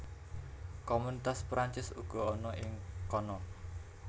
Komunitas Perancis uga ana ing kana